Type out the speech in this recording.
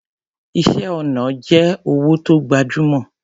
Iṣẹ́ ọnà jẹ́ òwò tó gbajúmọ̀.